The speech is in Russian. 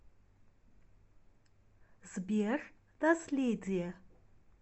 сбер наследие